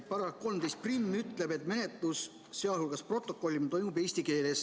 Paragrahv 131 ütleb, et menetlus, sealhulgas protokollimine, toimub eesti keeles.